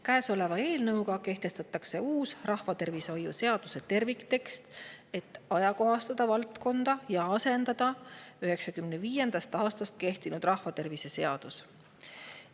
Käesoleva eelnõuga kehtestatakse uus rahvatervishoiu seaduse terviktekst, et ajakohastada valdkonda ja asendada 1995. aastast kehtinud rahvatervise seadus.